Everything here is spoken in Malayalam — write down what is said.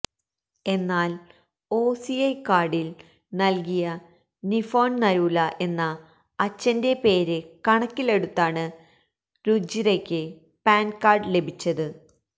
എന്നാല് ഒസിഐ കാര്ഡില് നല്കിയ നിഫോണ് നരൂല എന്ന അച്ഛന്റെ പേര് കണക്കിലെടുത്താണ് രുജിരയ്ക്ക് പാന്കാര്ഡ് ലഭിച്ചത്